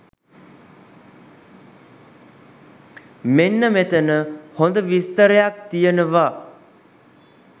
මෙන්න මෙතන හොද විස්තරයක් තියෙනවා.